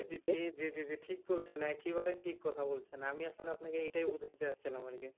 জি জি জি ঠিক বলছেন একেবারে ঠিক কথা বলছেন আমি আসলে আপনাকে এটাই বলতে চাচ্ছিলাম আর কি